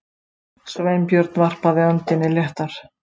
Sveinbjörn varpaði öndinni léttar.